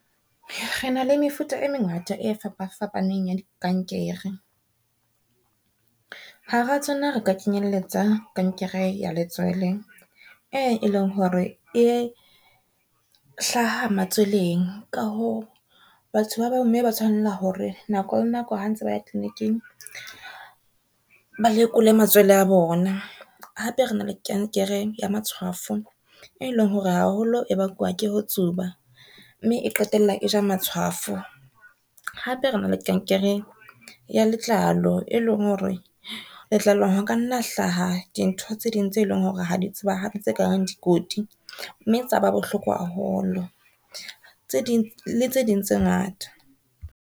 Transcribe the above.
Re na le mefuta e mengata e fapafapaneng ya di kankere, ha ra tsona re ka kenyelletsa kankere ya letswele e leng hore e hlaha matsweleng, ka hoo batho ba bomme ba tshwanela hore nako le nako ha ntse ba ya tliliniking ba lekole matswele a bona. Hape rena le kankere ya matshwafo, e leng hore haholo e bakwa ke ho tsuba, mme e qetella e ja matshwafo. Hape rena le kankere ya letlalo e leng hore letlalong ho ka nna hlaha di ntho tse ding tse eleng hore ha di tsebahale tse ka reng dikoti, mme tsa ba bohloko haholo le tse ding tse ngata.